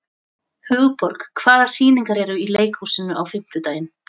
Hugborg, hvaða sýningar eru í leikhúsinu á fimmtudaginn?